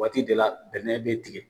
Waati de la bɛnɛ bɛ tigɛ.